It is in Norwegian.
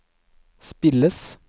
spilles